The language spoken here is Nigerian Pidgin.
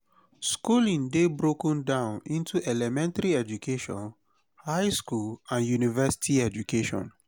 schooling dey broken down into elementry education high school and university education